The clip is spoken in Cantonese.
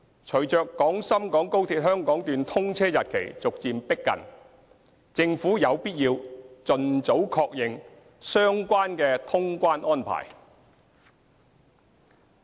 隨着廣深港高鐵香港段通車日期逐漸逼近，政府有必要盡早確認相關的通關安排。